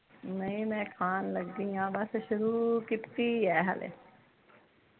ਨਹੀਂ ਮੈ ਖਾਣ ਲੱਗੀ ਆ ਬੱਸ ਸ਼ੁਰੂ ਕੀਤੀ ਆ ਹਾਲੇ